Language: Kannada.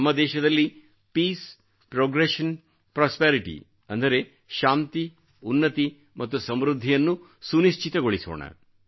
ನಮ್ಮ ದೇಶದಲ್ಲಿ ಪೀಸ್ ಪ್ರೊಗ್ರೆಷನ್ ಪ್ರಾಸ್ಪೆರಿಟಿ ಅಂದರೆ ಶಾಂತಿ ಉನ್ನತಿ ಮತ್ತು ಸಮೃದ್ಧಿಯನ್ನು ಸುನಶ್ಚಿತಗೊಳಿಸೋಣ